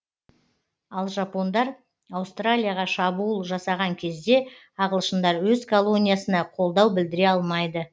ал жапондар аустралияға шабуыл жасаған кезде ағылшындар өз колониясына қолдау білдіре алмайды